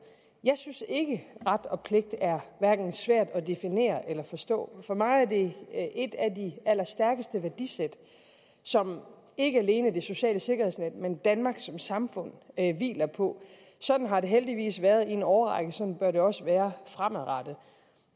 jeg synes ikke at ret og pligt er svært at definere eller forstå for mig er det et af de allerstærkeste værdisæt som ikke alene det sociale sikkerhedsnet men danmark som samfund hviler på sådan har det heldigvis været i en årrække sådan bør det også være fremadrettet